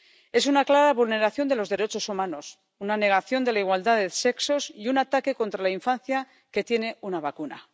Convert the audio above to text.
Es una clara vulneración de los derechos humanos, una negación de la igualdad de sexos y un ataque contra la infancia, que tiene una vacuna.